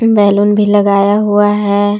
Balloon भी लगाया हुआ है।